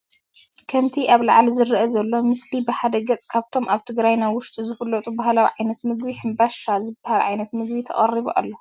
ከምቲ ኣብ ላዓሊ ዝርአ ዘሎ ምስሊ ብሓደ ገፅ ከብቶም ኣብ ትግራይና ውሽጢ ዝፍለጡ ባህላዊ ዓይነታት ምግቢ"ሕምባሻ" ዝባሃል ዓይነት ምግቢ ተቀሪቡ ኣሎ።